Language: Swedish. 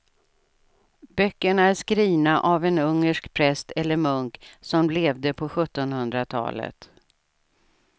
Böckerna är skrivna av en ungersk präst eller munk som levde på sjuttonhundratalet.